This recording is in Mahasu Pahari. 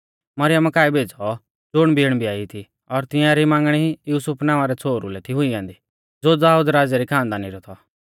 मरियमा काऐ भेज़ौ ज़ुण बिण ब्याई थी और तिंआरी मांगणी युसुफ नावां रै छ़ोहरु लै थी हुई ऐन्दी ज़ो दाऊद राज़ै री खानदानी रौ थौ